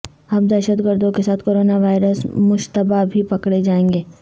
اب دہشت گردوں کے ساتھ کورونا وائرس مشتبہ بھی پکڑے جائیں گے